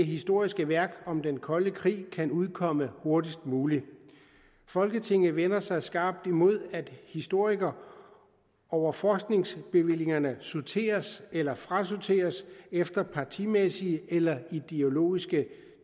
historiske værk om den kolde krig kan udkomme hurtigst muligt folketinget vender sig skarpt imod at historikere over forskningsbevillingerne sorteres eller frasorteres efter partimæssige eller ideologiske